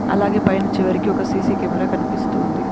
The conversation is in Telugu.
అలాగే పైన చివరికి ఒక సీ_సీ కెమెరా కనిపిస్తోంది